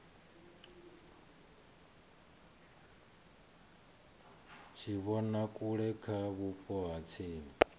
tshivhonakule kha vhupo ha tsini